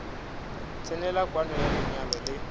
tsenela kwano ya lenyalo le